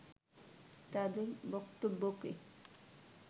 তাদের বক্তব্যকে